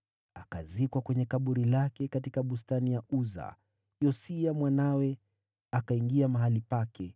Akazikwa kwenye kaburi lake katika bustani ya Uza. Naye Yosia mwanawe akawa mfalme baada yake.